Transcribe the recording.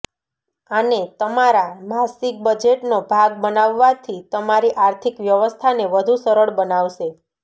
આને તમારા માસિક બજેટનો ભાગ બનાવવાથી તમારી આર્થિક વ્યવસ્થાને વધુ સરળ બનાવશે